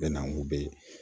Bɛna kun bɛ